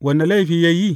Wane laifi ya yi?